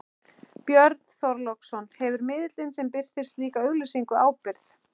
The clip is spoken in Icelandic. Björn Þorláksson: Hefur miðillinn sem birtir slíka auglýsingu ábyrgð?